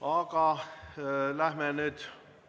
Aga läheme nüüd edasi.